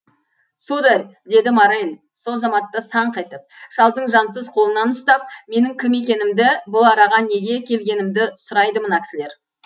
сударь деді моррель со заматта саңқ етіп шалдың жансыз қолынан ұстап менің кім екенімді бұл араға неге келгенімді сұрайды мына кісілер